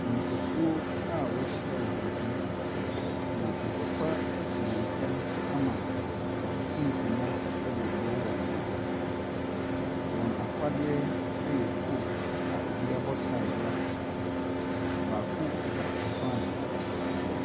Nnipakuo a wahyia wɔ beebi, na ntɔkwa asi wɔn ntamu ama wɔatoto nkonnwa ɛde reboro wɔn ho. Wɔn afadeɛ ɛyɛ kootu a ɛbi abɔ taae de ato so. Baako kita frankaa.